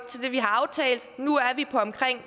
på omkring